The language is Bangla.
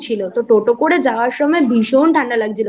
তো টোটো করে যাওয়ার সময় ভীষণ ঠান্ডা লাগছিলো